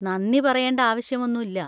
നന്ദി പറയേണ്ട ആവശ്യം ഒന്നും ഇല്ല.